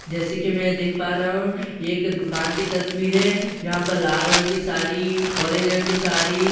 जैसे कि मैं देख पा रहा हूं ये एक दुकान की तस्‍वीर है जहां पर लाल रंग की सारी ऑरेन्‍ज रंग की सारी सब--